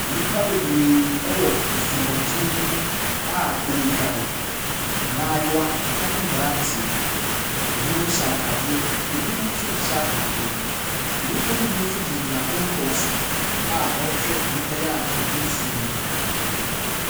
Nnipa bebree ɛwɔ asubɔntene bi mu a wɔredware. Mmaayewa ɛne mmeranteɛ, ɛbinom hyɛ ataadeɛ, ɛbinom nso nhyɛ ataadeɛ. Nnipa ne bi nso gyinagyina nkɔnkɔn so a wɔrehwɛ nnipa yi a wɔgu nsuo ne mu.